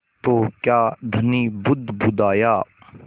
तो क्या धनी बुदबुदाया